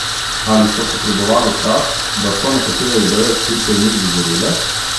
Ali so potrebovale čas, da so nekatere ideje, skrite v njih, dozorele?